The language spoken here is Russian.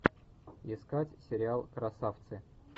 искать сериал красавцы